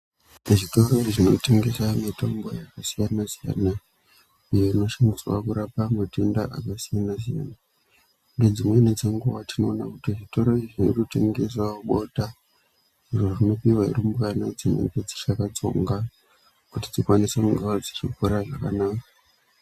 Zvitoro zvinotengese mitombo yakasiyana siyana iyo iyo inoshandiswa kurapa matenda akasiyana siyana Ngedzimweni dzenguwa tinoona kuti zvitoro izvi zvirutengesa bota zviro zvinopuwa rumbwana dzinenge dzichakadtsonga kuti dzikwanise kunga dzichikura zvakanaka.